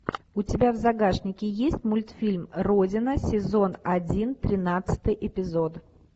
у тебя в загашнике есть мультфильм родина сезон один тринадцатый эпизод